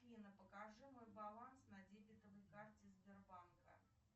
афина покажи мой баланс на дебетовой карте сбербанка